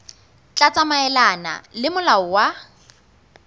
tla tsamaelana le molao wa